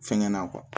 Fɛngɛ na